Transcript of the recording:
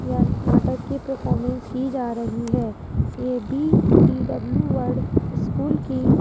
यह नाटक की परफॉर्मेंस की जा रही है ये बी_डी_डब्ल्यू वर्ड स्कूल की --